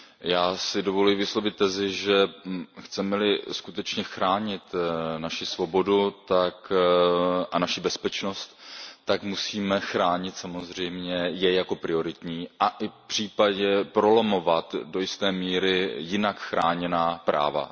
Já si dovoluji vyslovit tezi, že chceme li skutečně chránit naši svobodu a naši bezpečnost, tak je musíme chránit samozřejmě jako prioritní a i případně prolomovat do jisté míry jinak chráněná práva.